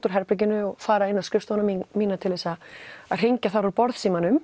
úr herberginu og fara inn á skrifstofuna mína mína til þess að hringja þar úr